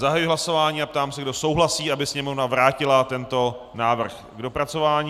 Zahajuji hlasování a ptám se, kdo souhlasí, aby Sněmovna vrátila tento návrh k dopracování.